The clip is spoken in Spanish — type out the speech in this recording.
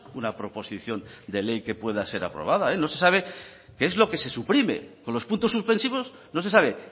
una proposición de ley que pueda ser aprobada no se sabe qué es lo que se suprime con los puntos suspensivos no se sabe